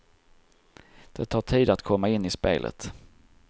Det tar tid att komma in i spelet.